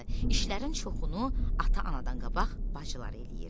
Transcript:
İşlərin çoxunu ata-anadan qabaq bacılar eləyir.